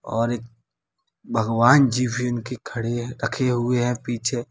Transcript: और एक भगवान जी भी इनके खड़े है रखे हुए हैं पीछे।